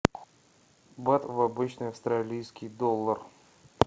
бат в обычный австралийский доллар